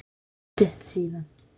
Það er svo stutt síðan.